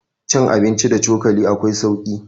cin abinci da cokali akwai sauki